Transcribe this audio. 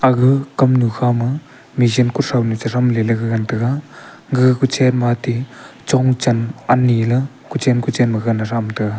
ag kamnu khama machine kothounu chethem ley gagan taga gag kochen ma ate chong chan ani la kochen kochen ma gagan thamtaga.